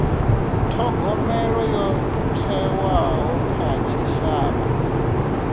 thogomelo yo thewaho kha tshitshavha